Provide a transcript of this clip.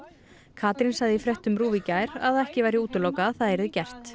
Katrín sagði í fréttum RÚV í gær að ekki væri útilokað að það yrði gert